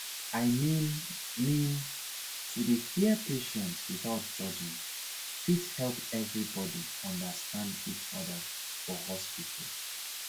i mean mean to dey hear patient without judging fit help everybody understand each other for hospital